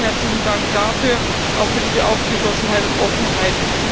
Erstmal vielen herzlichen Dank dafür, auch für diese Aufgeschlossenheit und Offenheit.